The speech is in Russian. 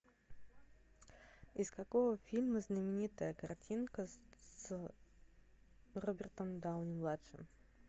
из какого фильма знаменитая картинка с робертом дауни младшим